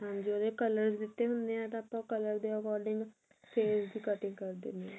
ਹਾਂਜੀ ਉਹਦੇ color ਦਿੱਤੇ ਹੁਣੇ ਏ ਤਾਂ ਆਪਾਂ ਤਾਂ ਉਹ color ਦੇ according face ਦੀ cutting ਕਰ ਦਿੰਦੇ ਆ